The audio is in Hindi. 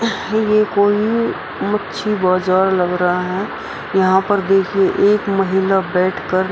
ये कोई मच्छी बाजार लग रहा है यहां पर देखिए एक महिला बैठकर --